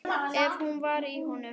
Ef hún var í honum.